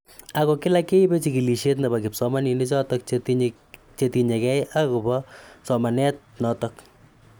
Ako kila keibe chikilishet nebo kipsomaninik chotok chetinye kei ako bo somanet notok.